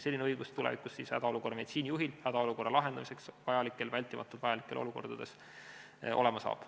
Selline õigus hädaolukorra meditsiinijuhil hädaolukorra lahendamiseks vältimatu vajaduse korral olema saab.